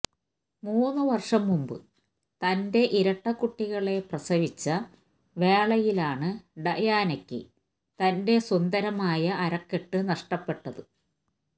മൂന്ന് വര്ഷം മുന്പ് തന്റെ ഇരട്ട കുട്ടികളെ പ്രസവിച്ച വേളയിലാണ് ഡയാനയ്ക്ക് തന്റെ സുന്ദരമായ അരക്കെട്ട് നഷ്ടപ്പെട്ടത്